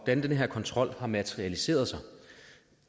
den her kontrol har materialiseret sig